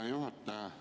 Hea juhataja!